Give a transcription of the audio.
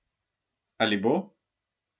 Ali bo?